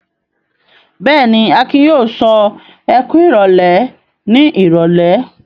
Bẹ́ẹ̀ ni, Akin yóò sọ "ẹ kú ìrólé" ní ìrọ́lẹ́.